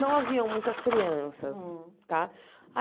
Não haviam muitas crianças. Tá